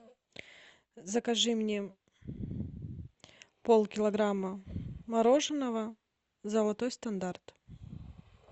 закажи мне полкилограмма мороженого золотой стандарт